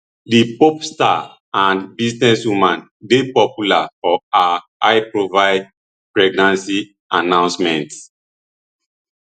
di pop star and businesswoman dey popular for her highprofile pregnancy announcements